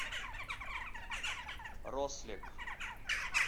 рослек